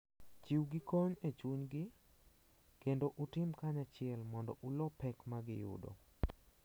Chiwgi kony e chunygi kendo utim kanyachiel mondo ulo pek ma giyudo.